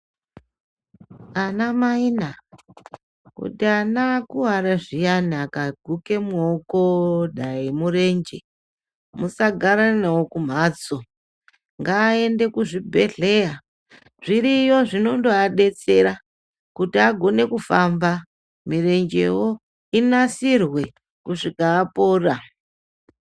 Ana maina kuti ana akuwara kuti ana akuwara zviya dai kugume mudoko dai murenje musagara nawo kumhatso ngaende Kuzvibhedhleya, zviriyo zvinondoadetsera kuti agone kufamba nemirenjewo inasirwe kusvika apora.